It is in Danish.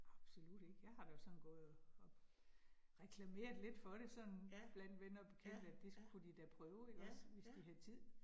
Absolut ikke, jeg har da sådan gået og og reklameret lidt for det sådan blandt venner og bekendte, at det kunne de da prøve ikke også, hvis de havde tid